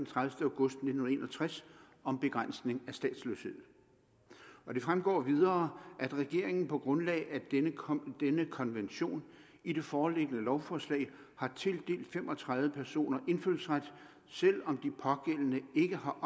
tredivete august nitten en og tres om begrænsning af statsløshed det fremgår videre at regeringen på grundlag af denne konvention konvention i det foreliggende lovforslag har tildelt fem og tredive personer indfødsret selv om de pågældende ikke har